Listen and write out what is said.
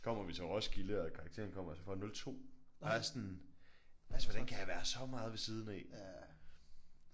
Kommer vi til Roskilde og karakteren kommer og så jeg får 02 og jeg sådan altså hvordan kan jeg være så meget ved siden af?